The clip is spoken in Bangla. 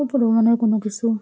উপরে মনে হয় কোনো কিসু--